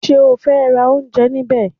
Ṣé o fẹ́ ra oúnjẹ níbẹ̀?